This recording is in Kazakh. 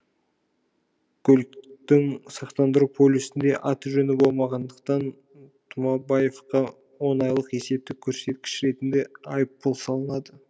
көліктің сақтандыру полюсінде аты жөні болмағандықтан тұмабаевқа он айлық есептік көрсеткіш ретінде айыппұл салынды